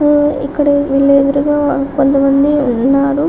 ఆహ్ ఇక్కడ వీళ్ళు ఎదురుగా కొంతమంది ఉన్నారు.